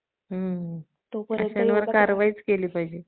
आणि सणावारालासुद्धा खूप छानछान पदार्थ घरगुती बनवातेत. हे नाही की, बाहेर जाऊन काहीतरी